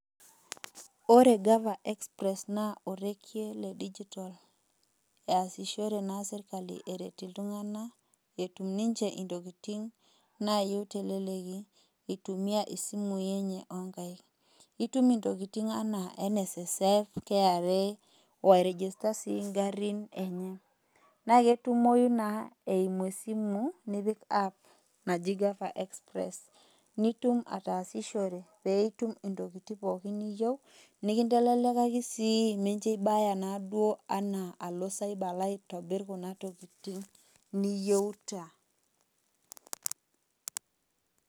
Ore gava express na orege le digital eaishore na serkali erert ltunganak etum ninche ntokitin nayie teleleki itumia isimui enye onkaik itum ntokitin anaa nssf,kra oai[cs[ register na ngarin enye naketumoi na eimu esimu nipi aap naji gava exoress nitum ataashushore pitum pooki toki niyieu nikinteleleki nikincho ibaya alo cyber alo aitobir kuna tokitin niyeuta.